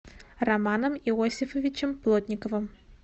романом иосифовичем плотниковым